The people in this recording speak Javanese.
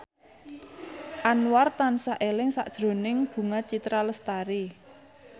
Anwar tansah eling sakjroning Bunga Citra Lestari